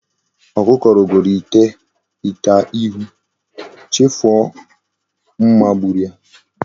Okuko rogoro ite ihu, chefu o mma gburu ya